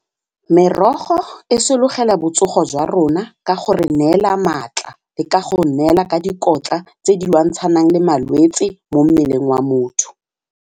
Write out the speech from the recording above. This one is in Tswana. Merogo e sologela botsogo jwa rona ka go re neela matla le ka go neela ka dikotla tse di lwantshanang le malwetsi mo mmeleng wa motho.